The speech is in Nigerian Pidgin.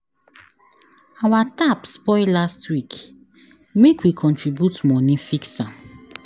Our tap spoil last week, make we contribute moni fix am.